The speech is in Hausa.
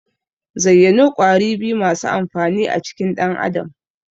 Zayyano Ƙwari biyu masu amfani a cikin dan Adam?